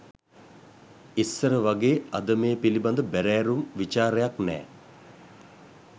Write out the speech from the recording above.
ඉස්සර වගේ අද මේ පිළිබඳ බැරෑරුම් විචාරයක් නෑ